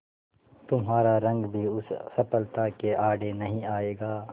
तुम्हारा रंग भी उस सफलता के आड़े नहीं आएगा